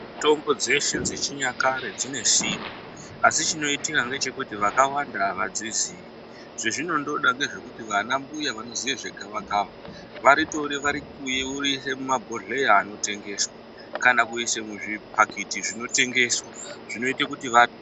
Mitombo dzeshe dzechinyakare dzinesimba, asi chinoyitika ngechekuti vakawanda avadziziyi, zvazvinondoda ngezvekuti vana mbuya vanoziva zvegavakava, varitore vari kuye ,voriyise mumabhodhleya anotengeswa, kana kuyiswa muzvipakiti zvinotengeswa, zvinoyita kuti va.